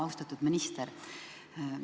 Austatud minister!